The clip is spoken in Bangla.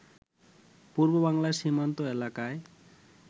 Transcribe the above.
পূর্ববাংলার সীমান্ত এলাকায়